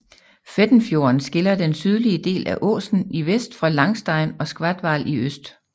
Fættenfjorden skiller den sydlige del af Åsen i vest fra Langstein og Skatval i øst